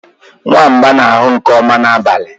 nwamba na-ahụ nke ọma n'abalị